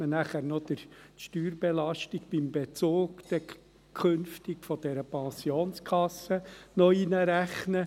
Danach müsste man künftig beim Bezug von dieser Pensionskasse noch die Steuerbelastung einrechnen.